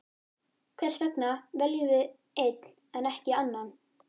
Hversvegna veljum við einn en ekki annan?